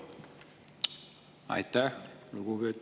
Aitäh!